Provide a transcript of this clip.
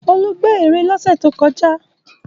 Olú gbẹ́ ère lọ́sẹ̀ tó kọjá.